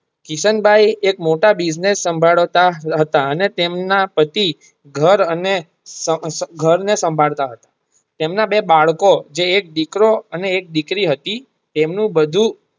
કિશન ભાઈ એક મોટા Business સાંભળતા હતા અને તેમના પત્ની ઘર ને સાંભળતા હતા તેમના બે બાળકો જે એક દીકરો અને એક દીકરી હતી તેમનું બધું.